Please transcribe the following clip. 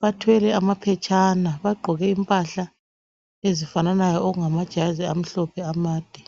Bathwele amaphetshana bagqoke impahla ezifananayo okungajazi amhlope amade.